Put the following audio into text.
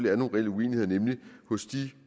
er nogle reelle uenigheder nemlig